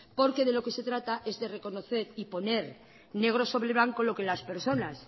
porque lo que se trata es de reconocer y poner negro sobre blanco lo que las personas